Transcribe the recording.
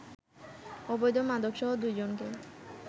অবৈধ মাদকসহ দুই জনকে